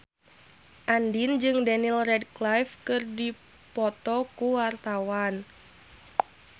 Andien jeung Daniel Radcliffe keur dipoto ku wartawan